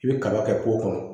I bɛ kaba kɛ kɔnɔ